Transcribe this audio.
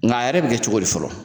Nka a yɛrɛ bɛ kɛ cogo di fɔlɔ